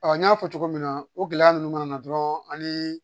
n y'a fɔ cogo min na o gɛlɛya ninnu mana na dɔrɔn an ni